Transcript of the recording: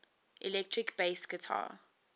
electric bass guitar